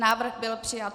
Návrh byl přijat.